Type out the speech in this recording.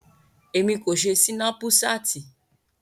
Emi ko ṣe Sinapuṣati.